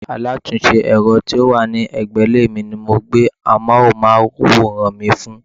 Alátúnse èro tí ó wà légbè ilé mi ni mo gbé amóhúnmáwòrán mi fún